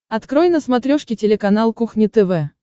открой на смотрешке телеканал кухня тв